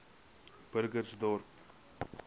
burgersdorp